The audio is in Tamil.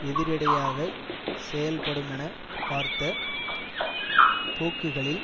எதிரிடையாகச் செயல்படுமெனப் பார்த்த போக்குகளில்